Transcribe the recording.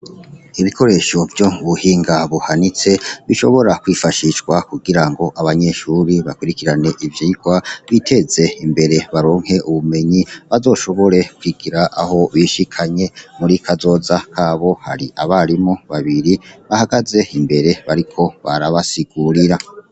Ibikoresho vyo mu buhinga buhanitse bishobora kwifashishwa kugira ngo abanyeshure bakurikirane ivyigwa biteze imbere baronke ubumenyi bazoshobore kugira aho bishikanye muri kazoza habo, hari abarimu babiri bahagaze imbere bariko barabasigurira.